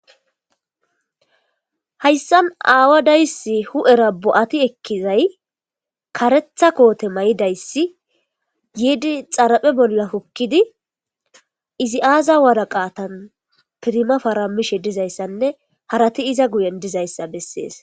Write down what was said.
Haysan awadaysi hu'era bo'ti ekizay karetha kote mayidaysi yidi xara'e bola hokidi izi aza woraqatan pirima oaramishe dizaysane harati iza guyen dizaysa beses.